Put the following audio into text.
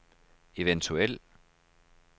eventuel